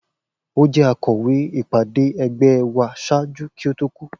O jẹ akọwe ipade ẹgbẹ wa ṣaaju ki o to ku.